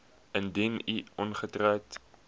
indien u ongetroud